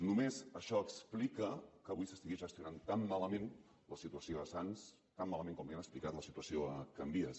només això explica que avui s’estigui gestionant tan malament la situació a sants tan malament com li han explicat explicat la situació a can vies